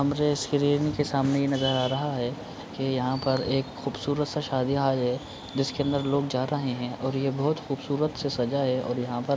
हमरे स्क्रीन के सामने नजर आ रहा है की यहाँ पर एक खूबसूरत सा शादी हॉल है जिसके अंदर लोग जा रहे हैं और यह बहोत खूबसूरत से सजा है और यहाँ पर --